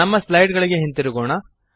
ನಮ್ಮ ಸ್ಲೈಡ್ ಗಳಿಗೆ ಹಿಂದಿರುಗೋಣ